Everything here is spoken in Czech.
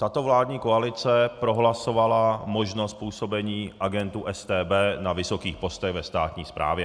Tato vládní koalice prohlasovala možnost působení agentů StB na vysokých postech ve státní správě.